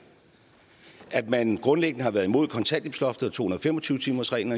at man grundlæggende har været imod kontanthjælpsloftet og to hundrede og fem og tyve timersreglen